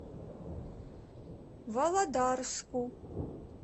володарску